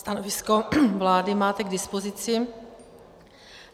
Stanovisko vlády máte k dispozici.